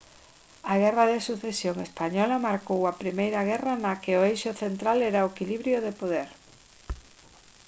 a guerra de sucesión española marcou a primeira guerra na que o eixo central era o equilibrio de poder